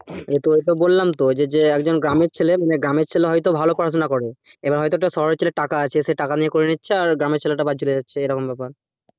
তোকে তো বললাম তো যে যে একজন গ্রামের ছেলে মানে গ্রামের ছেলে হয়তো ভালো পড়াশোনা করে এবার হয়তো একটা শহরের ছেলে টাকা আছে সে টাকা নিয়ে করে নিচ্ছে আর একটা গ্রামের ছেলেটা বাদ চলে যাচ্ছে এরকম ব্যাপার